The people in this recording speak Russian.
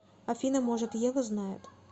афина может ева знает